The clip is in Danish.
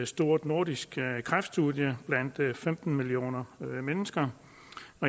stort nordisk kræftstudie blandt femten millioner mennesker